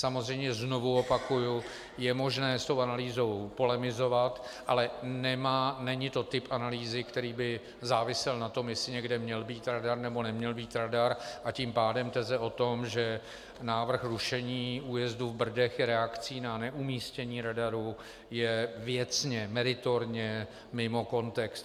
Samozřejmě, znovu opakuji, je možné s tou analýzou polemizovat, ale není to typ analýzy, který by závisel na tom, jestli někde měl být radar, nebo neměl být radar, a tím pádem teze o tom, že návrh rušení újezdu v Brdech je reakcí na neumístění radaru, je věcně meritorně mimo kontext.